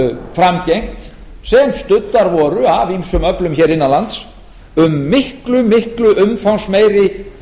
framgengt sem studdar voru af ýmsum öflum hér innan lands um miklu miklu umfangsmeiri